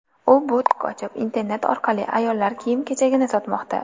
U butik ochib, internet orqali ayollar kiyim-kechagini sotmoqda.